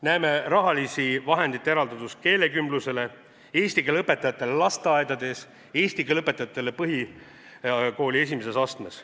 Näeme rahaliste vahendite eraldamist keelekümblusele, eesti keele õpetajatele lasteaedades, eesti keele õpetajatele põhikooli esimeses astmes.